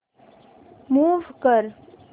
move कर